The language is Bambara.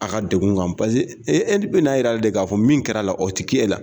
A ka degun kan paseke e e bi n'a yira de k'a fɔ min kɛra la o ti k'e la